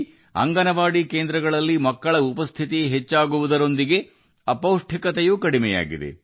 ಅಂಗನವಾಡಿ ಕೇಂದ್ರಗಳಲ್ಲಿ ಮಕ್ಕಳ ಹಾಜರಾತಿ ಹೆಚ್ಚಳದ ಜೊತೆಗೆ ಅಪೌಷ್ಟಿಕತೆಯೂ ಇಳಿಮುಖವಾಗಿದೆ